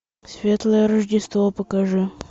светлое рождество покажи